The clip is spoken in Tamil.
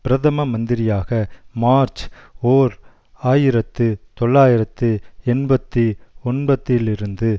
பிரதம மந்திரியாக மார்ச் ஓர் ஆயிரத்து தொள்ளாயிரத்து எண்பத்தி ஒன்பத்திலிருந்து